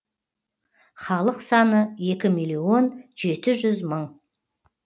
халық саны екі миллион жеті жүз мың